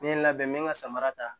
N ye n labɛn n bɛ n ka samara ta